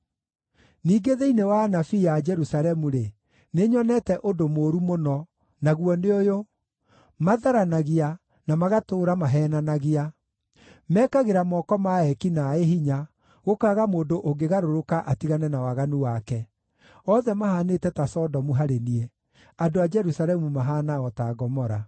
Ningĩ thĩinĩ wa anabii a Jerusalemu-rĩ, nĩnyonete ũndũ mũũru mũno, naguo nĩ ũyũ: Matharanagia, na magatũũra maheenanagia. Mekagĩra moko ma eeki naaĩ hinya, gũkaaga mũndũ ũngĩgarũrũka atigane na waganu wake. Othe mahaanĩte ta Sodomu harĩ niĩ; andũ a Jerusalemu mahaana o ta Gomora.”